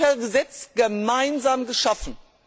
Wir haben sie per Gesetz gemeinsam geschaffen.